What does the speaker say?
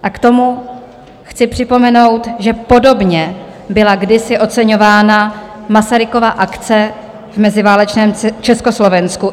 A k tomu chci připomenout, že podobně byla kdysi oceňována Masarykova akce v meziválečném Československu.